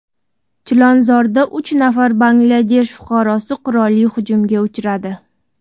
Chilonzorda uch nafar Bangladesh fuqarosi qurolli hujumga uchradi.